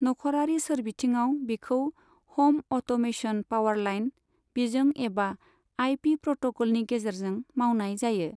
नखरारि सोरबिथिंआव बिखौ हम अट'मेसन पावारलाइन बिजों एबा आइपि प्रट'कलनि गेजेरजों मावनाय जायो।